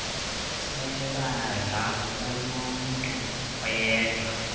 sebandla kunomntu oyedwa